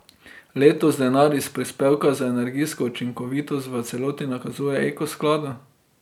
Letos denar iz prispevka za energijsko učinkovitost v celoti nakazuje Eko skladu.